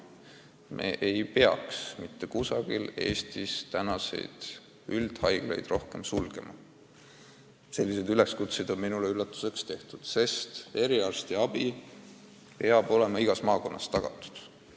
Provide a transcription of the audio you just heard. Me ei tohiks mitte kusagil Eestis enam ühtki üldhaiglat sulgeda – selliseid ettepanekuid on minu üllatuseks tehtud –, sest eriarstiabi peab olema igas maakonnas tagatud.